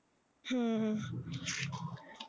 ਹਮ ਹਮ